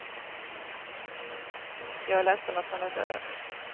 Jag är ledsen att han är död.